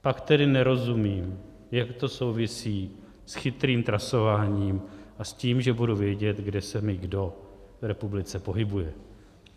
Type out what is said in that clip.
Pak tedy nerozumím, jak to souvisí s chytrým trasováním a s tím, že budu vědět, kde se mi kdo v republice pohybuje.